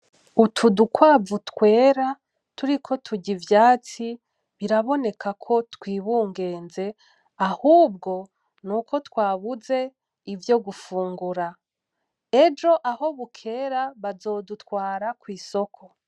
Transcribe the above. Utu dukwavu twera turiko turya ivyatsi biraboneka ko twibungeze, ahubwo nuko twabuze ivyo gufungura. Ejo aho bukera, bazodutwara kw'isoko.